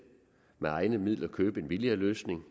med egne midler kan købe en billigere løsning